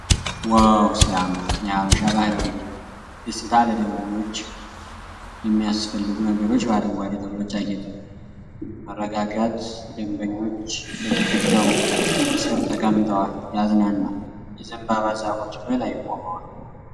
ዋው ሲያምር! የሃበሻ ባህላዊ ቤት። ደስታ! ለደንበኞች የሚያስፈልጉ ነገሮች በአረንጓዴ ተክሎች ያጌጠ ነው። መረጋጋት። ደንበኞች በግርግዳው ስር ተቀምጠዋል። ያዝናናል። የዘንባባ ዛፎች በላይ ቆመዋል።